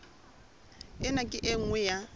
ena ke e nngwe ya